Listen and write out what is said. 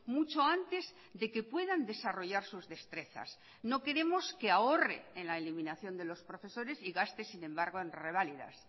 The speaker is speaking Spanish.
mucho antes de que puedan desarrollar sus destrezas no queremos que ahorre en la eliminación de los profesores y gaste sin embargo en reválidas